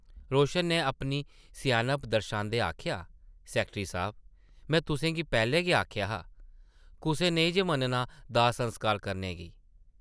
रोशन नै अपनी स्यानप दरशांदे आखेआ, सैकटरी साह्ब, में तुसें गी पैह्लें गै आखेआ हा, कुसै नेईं जे मन्नना दाह्-संस्कार करने गी ।